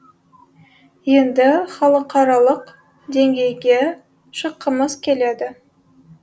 енді халықаралық деңгейге шыққымыз келеді